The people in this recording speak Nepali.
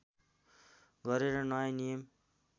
गरेर नयाँ नियम